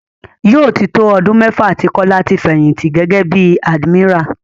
Yóò tí tó ọdún mẹ́fà tí Kọ́lá ti fẹ̀yìnti gẹ́gẹ́ bí admiral.